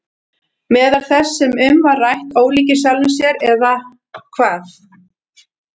Meðal þess sem um var rætt: Ólíkir sjálfum sér eða hvað?